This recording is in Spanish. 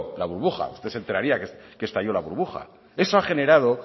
la burbuja usted se enteraría que estalló la burbuja eso ha generado